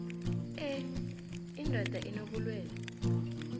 e indoda inobulwelwe